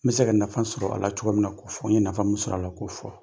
N bɛ se ka nafa sɔrɔ a la cogo min na k'o fɔ n ye nafa mun sɔrɔ a la k'o fɔ